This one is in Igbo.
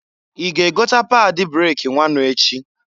I ga egota pad breki nwanu echi?